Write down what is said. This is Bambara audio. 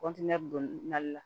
kɔntiniye don mali la